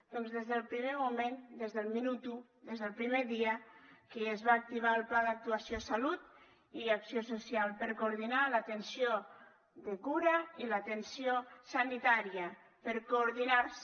doncs des del primer moment des del minut u des del primer dia que ja es va activar el pla d’actuació salut i acció social per coordinar l’atenció de cura i l’atenció sanitària per coordinar se